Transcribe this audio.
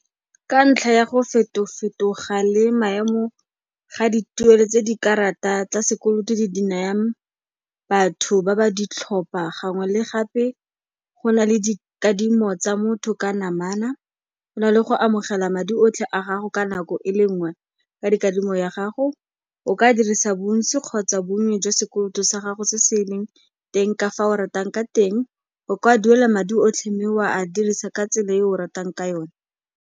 Ka ntlha ya go feto-fetoga le maemo ga dituelo tse dikarata tsa sekolo di di nayang batho ba ba ditlhopha gangwe le gape, go na le dikadimo tsa motho ka namana. Go na le go amogela madi otlhe a gago ka nako e le nngwe ka dikadimo ya gago, o ka dirisa bontsi kgotsa bonnye jwa sekoloto sa gago se se leng teng ka fa o ratang ka teng, o ka duela madi otlhe mme wa a dirisa ka tsela e o ratang ka yone.